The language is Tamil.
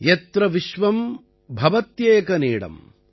யத்ர விஸ்வம் பவத்யேக நீடம்